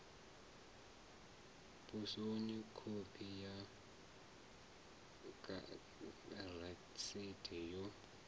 posoni khophi ya rasiti yo